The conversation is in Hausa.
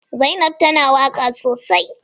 Zainabu tana waka sosai.